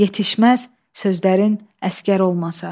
Yetişməz sözlərin əsgər olmasa.